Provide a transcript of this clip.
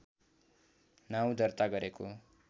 नाउँ दर्ता गरेको